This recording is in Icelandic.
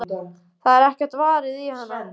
Það er ekkert varið í hana.